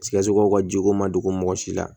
Sikasokaw ka jiko ma dogo mɔgɔ si la